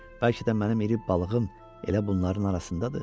Bəlkə də mənim iri balığım elə bunların arasındadır.